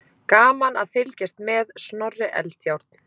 Gaman að fylgjast með: Snorri Eldjárn.